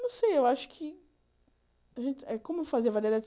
Não sei, eu acho que... É como fazer a variedade.